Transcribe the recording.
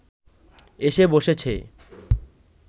এসে বসেছে